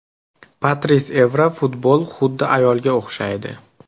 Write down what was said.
Patris Evra Futbol xuddi ayolga o‘xshaydi.